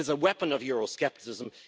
It is a weapon of euroscepticism.